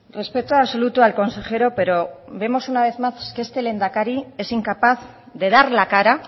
respeto absoluto al consejero pero vemos una vez más que este lehendakari es incapaz de dar la cara